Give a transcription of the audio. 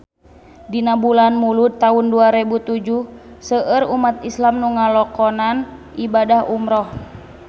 Dina bulan Mulud taun dua rebu tujuh seueur umat islam nu ngalakonan ibadah umrah